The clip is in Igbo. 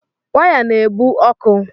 Waya na-ebu ọkụ